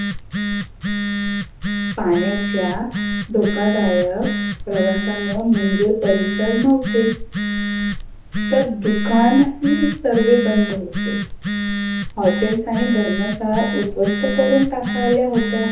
पाण्याच्या धोकादायक प्रवासामुळे मंदीर परिसर नव्हते. तर दुकानही सर्व बंद होते. हॉटेलस आणि धर्मशाळा उध्वस्त करून टाकाल्या होत्या.